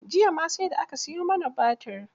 Jiya ma sai da aka siyo mana batir.